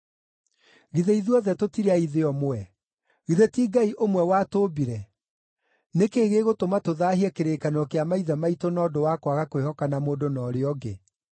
Githĩ ithuothe tũtirĩ a ithe ũmwe? Githĩ ti Ngai ũmwe watũũmbire? Nĩ kĩĩ gĩgũtũma tũthaahie kĩrĩkanĩro kĩa maithe maitũ na ũndũ wa kwaga kwĩhokana mũndũ na ũrĩa ũngĩ?